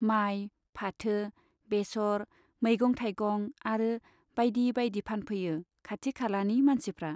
माइ , फाथो , बेसर , मैगं थाइगं आरो बाइदि बाइदि फानफैयो खाथि खालानि मानसिफ्रा।